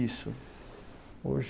Isso.